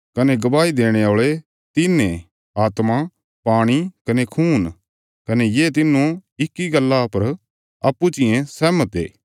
कने गवाही देणे औल़े तिन्न ये आत्मा पाणी कने खून कने ये तिन्नो इक्की गल्ला पर अप्पूँ चियें सहमत ये